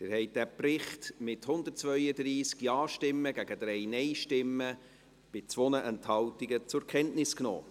Sie haben diesen Bericht mit 132 Ja- gegen 3 Nein-Stimmen bei 2 Enthaltungen zur Kenntnis genommen.